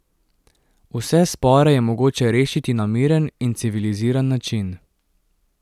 Vse spore je mogoče rešiti na miren in civiliziran način.